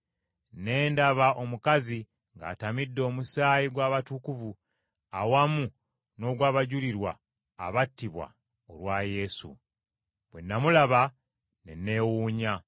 Ne ndaba omukazi ng’atamidde omusaayi gw’abatukuvu, awamu n’ogw’abajulirwa abattibwa olwa Yesu. Bwe namulaba ne neewuunya.